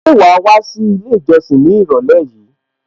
Ṣé wàá wá sí ilé ìjọsìn ní ìrọ̀lẹ́ yìí?